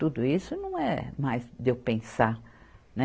Tudo isso não é mais de eu pensar, né?